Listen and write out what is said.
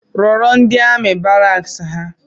Rọrọ ndi amị baraks ha